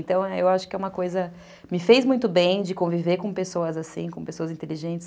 Então eu acho que é uma coisa, me fez muito bem de conviver com pessoas assim, com pessoas inteligentes.